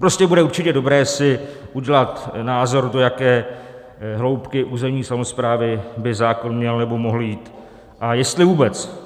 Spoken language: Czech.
Prostě bude určitě dobré si udělat názor, do jaké hloubky územní samosprávy by zákon měl nebo mohl jít a jestli vůbec.